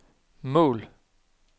mål